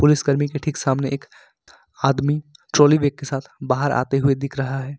Police कर्मी की ठीक सामने एक आदमी ट्रॉली बैग के साथ बाहर आते हुए दिख रहा है।